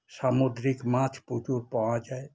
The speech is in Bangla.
সামুদ্রিক মাছ প্রচুর পাওয়া যায়